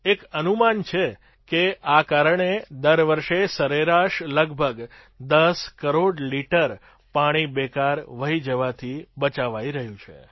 એક અનુમાન છેક આ કારણે દર વર્ષે સરેરાશ લગભગ ૧૦ કરોડ લિટર પાણી બેકાર વહી જવાથી બચાવાઈ રહ્યું છે